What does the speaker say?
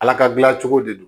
Ala ka dilancogo de don